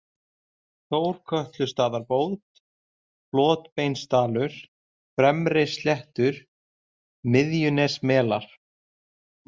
Þórkötlustaðabót, Flotbeinsdalur, Fremri-Sléttur, Smiðjunesmelar